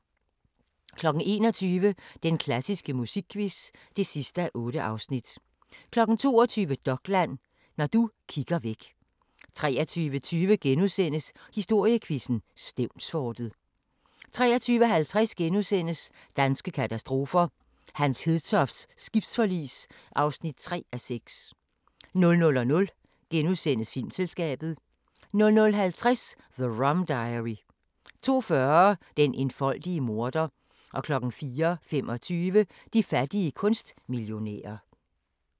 21:00: Den klassiske musikquiz (8:8) 22:00: Dokland: ... Når du kigger væk 23:20: Historiequizzen: Stevnsfortet * 23:50: Danske katastrofer – Hans Hedtofts skibsforlis (3:6)* 00:20: Filmselskabet * 00:50: The Rum Diary 02:40: Den enfoldige morder 04:25: De fattige kunstmillionærer